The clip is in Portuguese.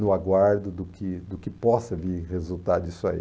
no aguardo do que do que possa vir resultado disso aí.